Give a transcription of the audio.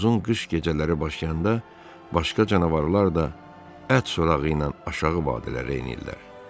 Uzun qış gecələri başlayanda başqa canavarlar da ət sorağı ilə aşağı vadilərə enirlər.